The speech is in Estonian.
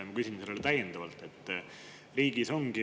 Minu küsimus täiendab seda.